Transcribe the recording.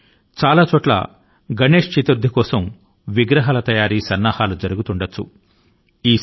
ఇక గణేశ్ చతుర్థి కి సన్నాహాలు మొదలవువుతాయి